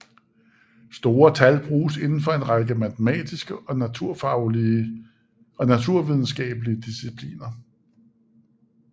Store tal bruges inden for en række matematiske og naturvidenskabelige discipliner